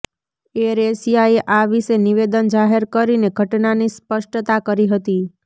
એરએશિયાએ આ વિશે નિવેદન જાહેર કરીને ઘટનાની સ્પષ્ટતા કરી હતી